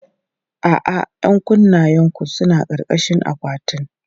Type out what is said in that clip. A'a, 'yan kunnenku suna ƙarƙashin akwatin.